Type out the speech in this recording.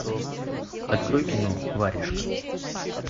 открой кино варежка